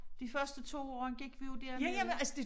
De første 2 år gik vi jo dernede